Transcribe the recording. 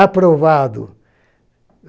Aprovado.